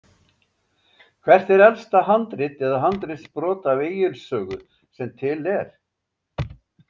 Hvert er elsta handrit eða handritsbrot af Egils sögu sem til er?